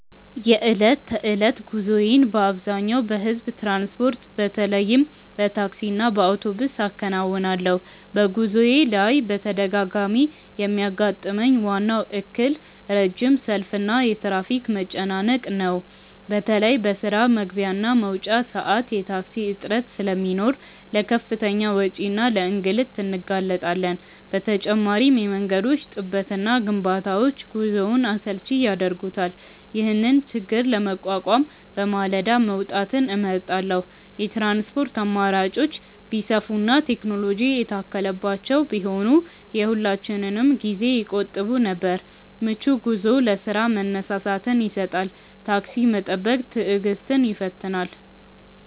የዕለት ተዕለት ጉዞዬን በአብዛኛው በሕዝብ ትራንስፖርት፣ በተለይም በታክሲና በአውቶቡስ አከናውናለሁ። በጉዞዬ ላይ በተደጋጋሚ የሚያጋጥመኝ ዋናው እክል ረጅም ሰልፍና የትራፊክ መጨናነቅ ነው። በተለይ በስራ መግቢያና መውጫ ሰዓት የታክሲ እጥረት ስለሚኖር ለከፍተኛ ወጪና ለእንግልት እንጋለጣለን። በተጨማሪም የመንገዶች ጥበትና ግንባታዎች ጉዞውን አሰልቺ ያደርጉታል። ይህንን ችግር ለመቋቋም በማለዳ መውጣትን እመርጣለሁ። የትራንስፖርት አማራጮች ቢሰፉና ቴክኖሎጂ የታከለባቸው ቢሆኑ የሁላችንንም ጊዜ ይቆጥቡ ነበር። ምቹ ጉዞ ለስራ መነሳሳትን ይሰጣል። ታክሲ መጠበቅ ትዕግስትን ይፈትናል።